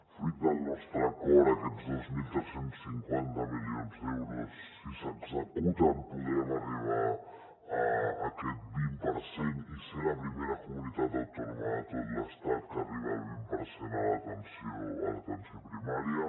fruit del nostre acord aquests dos mil tres cents i cinquanta milions d’euros si s’executen podrem arribar a aquest vint per cent i ser la primera comunitat autònoma de tot l’estat que arriba al vint per cent a l’atenció primària